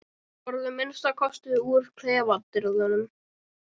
Farðu að minnsta kosti úr klefadyrunum.